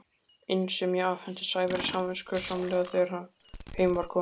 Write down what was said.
inn sem ég afhenti Sævari samviskusamlega þegar heim var komið.